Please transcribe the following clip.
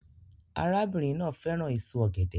Arábìnrin náà fẹ́ràn èso ọ̀gẹ̀dẹ̀